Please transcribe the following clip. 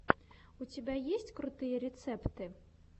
у тебя есть крутые рецепты